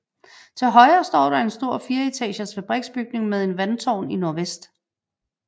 Til højre står der en stor fireetagers fabriksbygning med en vandtårn i nordvest